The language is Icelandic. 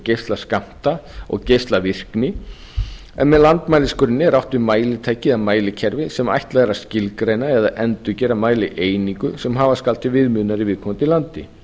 geislaskammta og geislavirkni með landsmæligrunni er átt við mælitæki eða mælikerfi sem ætlað er að skilgreina eða endurgera mælieiningu sem hafa skal til viðmiðunar í viðkomandi landi